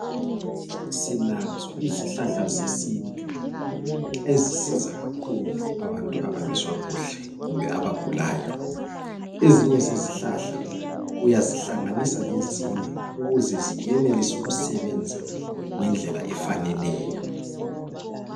Silazo izihlahla zesintu ezisiza kakhulu abantu abangezwa kuhle kumbe abagulayo, ezinye zezihlahla uyazihlanganisa lezinye ukuze zienelise ukusebenza ngendlela efaneleyo.